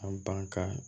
A ban ka